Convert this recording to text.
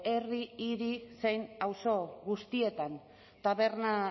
herri hiri zein auzo guztietan taberna